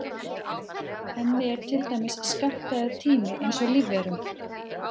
Henni er til dæmis skammtaður tími eins og lífverum.